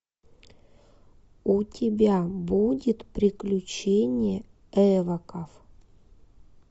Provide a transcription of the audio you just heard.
у тебя будет приключения эвоков